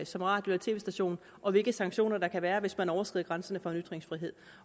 som radio og tv station og hvilke sanktioner der kan være hvis man overskrider grænserne for ytringsfrihed